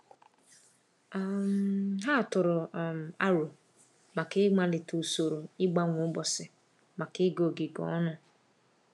um Ha tụrụ um aro maka ị malite usoro ịgbanwe ụbọchị maka ịga ogige ọnụ.